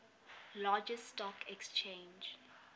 largest stock exchange